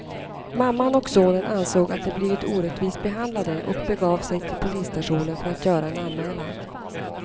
Mamman och sonen ansåg att de blivit orättvist behandlade och begav de sig till polisstationen för att göra en anmälan.